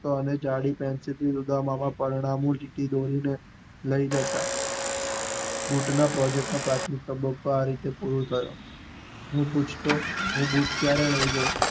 N જાડી pencil થી ઉદ્દમામાં ચીઠી લઇ જતા, બુટ ના પ્રોજેક્ટ ના પ્રાથમિલ શબ્દો ના આ રીતે પૂરું કરતા, અને પૂછતો બુટ ક્યારે થઇ જશે?